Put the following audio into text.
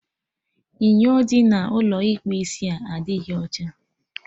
Inyo dị n'Ụlọ ịkpụ isia adịghị ọcha